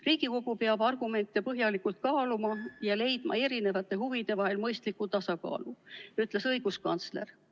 Riigikogu peab argumente põhjalikult kaaluma ja leidma erinevate huvide vahel mõistliku tasakaalu, ütles õiguskantsler.